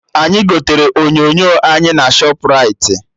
Anyị gotere onyonyo anyị na Shọpraịti